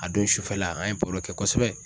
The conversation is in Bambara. A don sufɛla an ye baro kɛ kosɛbɛ